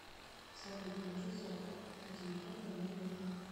салют положи сотку на телефон на мой номер